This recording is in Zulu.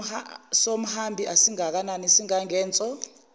somhambi asingakanani singangenso